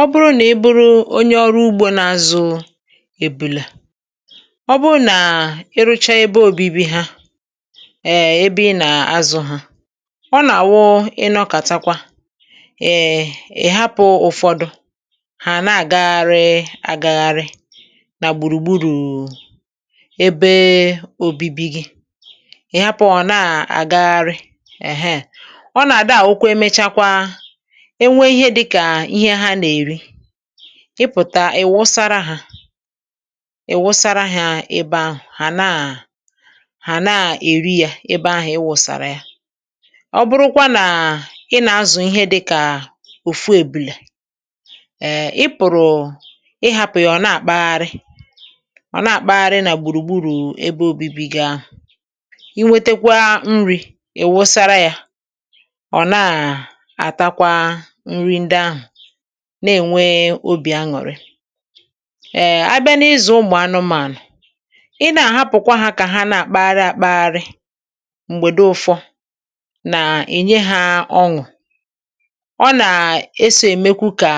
Ọ̀ bụrụ nà e bụrụ onye ọrụ ugbò nà-azụ̇ ebùlà, ọ̀ bụrụ nà ị rụchaa ebe òbibi ha, èe ebe ị nà-azụ̇ hạ, ọ nà-àwụ ị nọkàtakwa. Èe, ị̀ hapụ̇ ụ̀fọdụ ha nà-àgagharị àgagharị nà gbùrùgburù ebe òbibi gị, ị̀ hapụ̀ ọ̀ na-àgagharị. Èhee, ọ nà-àdàà òkwe. (ehm)Emechakwa ihe dịkà ihe ha nà-èri, ị pụ̀ta, ì wụsàra hạ, i wụsàra ahịhịa ebe ahụ̀, hà na-hà na-èri yà ebe ahụ̀ i wụsàra yà. Ọ̀ bụrụkwa nà ị nà-azụ̀ ihe dịkà òfù ebìlè, ị pụ̀rụ̀ ịn’hàpụ̀ yà, ọ̀ na-àkpagharị, ọ na-àkpagharị nà gbùrùgburù ebe obibi gaa, inwetekwa nri̇ i wụsàra yà, na-ènwe obi̇ aṅụ̀rị. Abịa n’ịzụ̀ ụmụ̀ anụmànụ̀, ị na-ahapụ̀kwa ha kà ha nà-àkpaghi àkpaghi m̀gbèdo ụ̇fọ̇, nà-ènye ha ọṅụ̀. Ọ nà-esȯ, èmekwa kà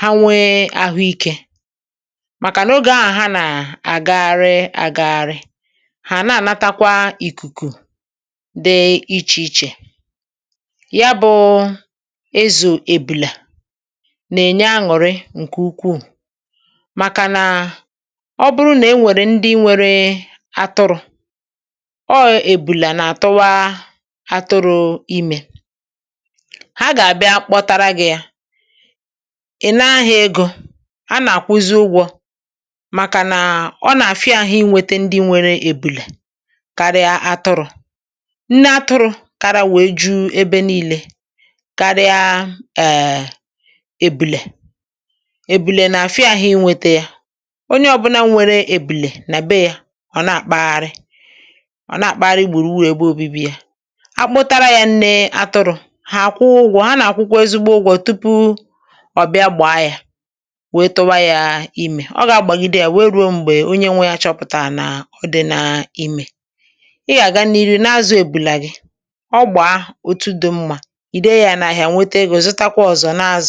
ha nwee àhụiké, màkà n’ogé ahụ̀ ha nà-àgagharị àgagharị, hà na-ànatakwa ìkùkù dị iche-iche nà-ènye aṅụrị nke ukwu. (um)Màkà nà ọ̀ bụrụ nà e nwèrè ndị nwere atụrụ̇ ọọ̇, ebùlà nà-àtụwa atụrụ̇. Imé ha gà-àbịa kpọtara gị̇ ya, ị̀ na-ahịa egò. A nà-àkwụzi ụgwọ̇, màkà nà ọ nà-àfịa àhụ inwètè ndị nwere ebùlà karịa atụrụ̇.Nne atụrụ̇ kàrà wèe juu ebe niile, ebùlè nà-àfịa àhụ. Inwètè ya, onye ọ̀bụna nwere ebùlè nà bee yà, ọ̀ na-àkpagharị, ọ̀ na-àkpagharị igbùrù, wèe gba obi̇bi̇ ya. A kpọtara yà nne atụrụ̇, hà àkwụ ụgwọ̇, ha nà-àkwụkwò ezigbo ụgwọ̇ tupu ọ̀ bịa gbàa yà. Wetụwa yà, imé ọ gà-àgbàgide yà, wèrè ruo m̀bè onye nwe ya chọpụ̀tàrà nà o dị na imé. hmm Ị gà-gà n’irì nà-azụ ebùlà gị, ọ gbàa otu dị̇ mmá ǹkẹ̀.